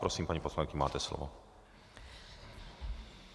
Prosím, paní poslankyně, máte slovo.